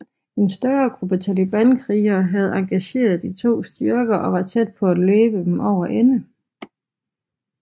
En større gruppe Talibankrigere havde engageret de to styrker og var tæt på at løbe dem over ende